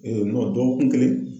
dɔgɔkun kelen.